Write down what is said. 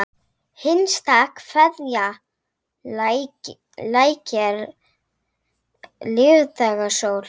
HINSTA KVEÐJA Lækkar lífdaga sól.